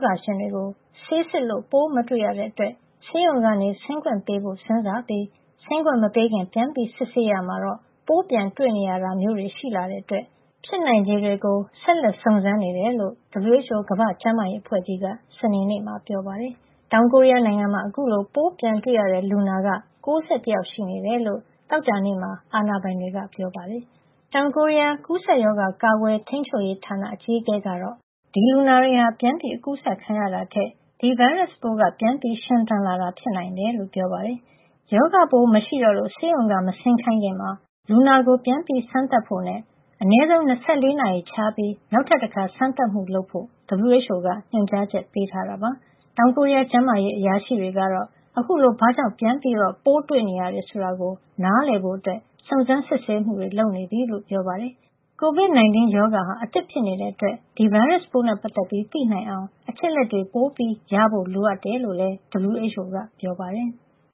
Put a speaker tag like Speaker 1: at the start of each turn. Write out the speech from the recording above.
Speaker 1: ဂါရှင်တွေကို ဆေးစစ်လို့ ပိုးမတွေ့ရတဲ့အတွက် ဆေးရုံက ဆင်းခွင့်ပေးဖို့ စဉ်းစားပြီး ဆင်းခွင့်မပေးခင် ပြန်စစ်ဆေးရာမှာတော့ ပိုးပြန်တွေ့နေရတာမျိုးတွေ ရှိလာတဲ့အတွက် ဖြစ်နိုင်ခြေတွေကို ဆက်လက် စုံစမ်းနေတယ်လို့ WHO ကမ္ဘာ့ကျန်းမာရေးအဖွဲ့ကြီးက စနေနေ့မှာ ပြောပါတယ်။ တောင်ကိုရီးယားနိုင်ငံမှာ အခုလို ပိုးပြန်တွေ့ရတဲ့လူနာ ၉၁ ယောက် ရှိနေတယ်လို့ သောကြာနေ့မှာ အာဏာပိုင်တွေက ပြောပါတယ်။ တောင်ကိုရီးယား ကူးစက်ရောဂါ ကာကွယ်ထိန်းချုပ်ရေးဌာန အကြီးအကဲ Jeong Eun-kyeong ကတော့ ဒီလူနာတွေဟာ ပြန်အကူးစက်ခံရတာထက် ဒီဗိုင်းရပ်စ်ပိုးက ပြန်ရှင်သန်လာတာ ဖြစ်နိုင်တယ်လို့ ပြောပါတယ်။ ရောဂါပိုး မရှိတော့လို့ ဆေးရုံက မဆင်းခိုင်းခင် လူနာကို ပြန်စမ်းသပ်ဖို့နဲ့ အနည်းဆုံး ၂၄ နာရီခြားပြီး နောက်ထပ်တခါ စမ်းသပ်မှုလုပ်ဖို့ WHO က ညွှန်ကြားချက် ပေးထားတာပါ။ တောင်ကိုရီးယား ကျန်းမာရေးအရာရှိတွေကတော့ အခုလို ဘာကြောင့် ပြန်တွေ့နေရတယ် ဆိုတာကို နားလည်ဖို့ စုံစမ်းစစ်ဆေးမှုတွေ လုပ်နေပြီလို့ ပြောပါတယ်။ COVID-19 ရောဂါဟာ အသစ်ဖြစ်နေတဲ့အတွက် ဒီဗိုင်းရပ်စ်ပိုးနဲ့ ပတ်သက်ပြီး သိနိုင်အောင် အချက်အလက်တွေ ပိုရဖို့လိုတယ်လို့လည်း WHO က ပြောပါတယ်။